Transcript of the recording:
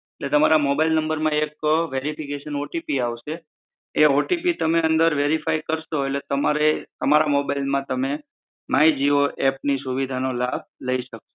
તમારા mobile number માં એક વેરિફિકેશન ઓટીપી આવશે એ ઓટીપી તમે વેરીફાઈ કરશો એટલે તમારા મોબાઈલ માં તમે માઇ જીઓ એપ ની સુવિધા નો લાભ લઈ શકો છો.